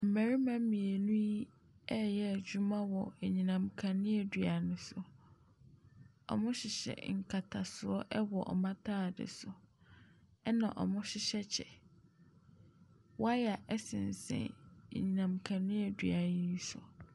Mmarima mmienu yi reyɛ adwuma wɔ anyinam kaneadua no so. Wɔhyehyɛ nkatasoɔ wɔ wɔn ataadeɛ so. Ɛna wɔhyehyɛ kyɛ. Wire sensɛn anyinam kaneadua no so.